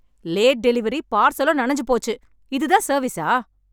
Late delivery, பார்சலும் நனைஞ்சு போச்சு. இது தான் சர்வீஸா?